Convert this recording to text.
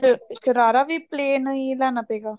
ਸ਼ਰਾਰਾ ਵੀ plan ਹੀ ਲੈਣਾ ਪਏਗਾ